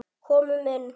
Komum inn!